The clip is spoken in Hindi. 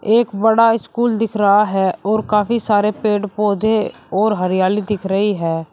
एक बड़ा स्कूल दिख रहा है और काफी सारे पेड़ पौधे और हरियाली दिख रही है।